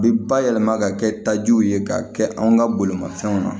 A bɛ bayɛlɛma ka kɛ tajiw ye k'a kɛ anw ka bolimanfɛnw na